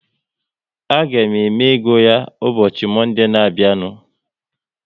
A ga-eme ego ya ụbọchị Monde na abịa nu